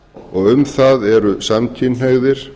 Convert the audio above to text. og um það eru samkynhneigðir